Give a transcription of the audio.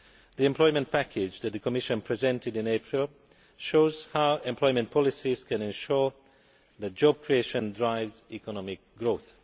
The Employment Package that the Commission presented in April shows how employment policies can ensure that job creation drives economic growth.